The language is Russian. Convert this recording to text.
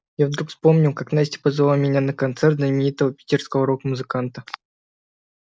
я вдруг вспомнил как настя позвала меня на концерт знаменитого питерского рок-музыканта